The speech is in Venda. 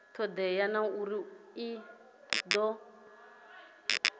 todea na uri i do